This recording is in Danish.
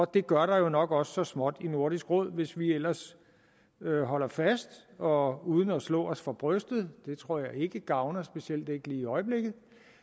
det gør der jo nok også så småt i nordisk råd hvis vi ellers holder fast og uden at slå os for brystet det tror jeg ikke gavner specielt ikke lige i øjeblikket